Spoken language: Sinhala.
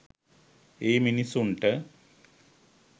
ඒ මිනිසුන්ට.